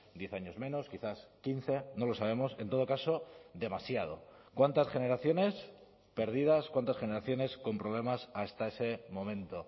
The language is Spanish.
diez años menos quizás quince no lo sabemos en todo caso demasiado cuántas generaciones perdidas cuántas generaciones con problemas hasta ese momento